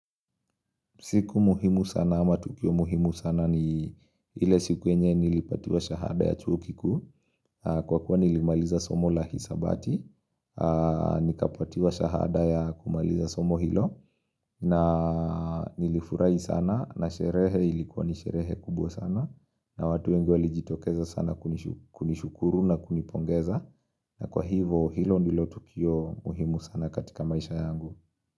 Siku muhimu sana ama tukio muhimu sana ni ile siku yenye nilipatiwa shahada ya chuo kikuu Kwa kuwa nilimaliza somo la hisabati Nikapatiwa shahada ya kumaliza somo hilo na nilifurai sana na sherehe ilikuwa nisherehe kubwa sana na watu wengi walijitokeza sana kunishukuru na kunipongeza na kwa hivo hilo ndilo tukio muhimu sana katika maisha yangu.